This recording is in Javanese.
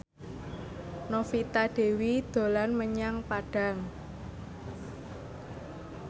Novita Dewi dolan menyang Padang